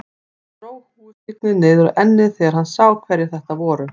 Hann dró húfuskyggnið niður á ennið þegar hann sá hverjir þetta voru.